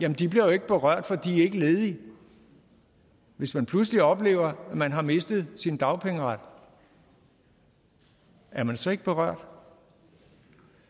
de bliver jo ikke berørt for de ikke ledige hvis man pludselig oplever at man har mistet sin dagpengeret er man så ikke berørt